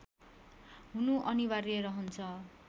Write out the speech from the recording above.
हुनु अनिवार्य रहन्छ